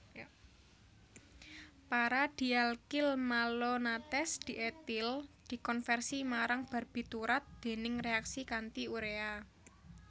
Para dialkylmalonates dietil dikonversi marang barbiturat déning reaksi kanti urea